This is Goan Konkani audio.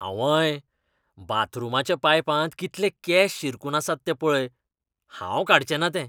आंवंय! बाथरूमाच्या पायपांत कितले केंस शिरकून आसात तें पळय. हांव काडचें ना ते.